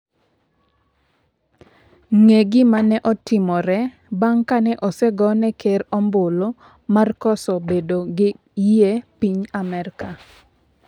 Ng'e gima ne otimore bang' kane osegone ker ombulu mar koso bedo gi yie piny Amerka